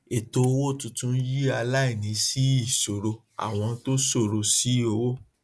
ẹtọ owó tuntun yìí aláìní sí ìsòro àwọn tó ṣòro sí owó